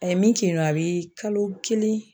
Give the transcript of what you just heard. A ye min kin kɛ yen nɔ, a bi kalo kelen